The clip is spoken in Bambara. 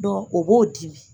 Dɔnku o b'o di